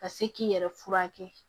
Ka se k'i yɛrɛ furakɛ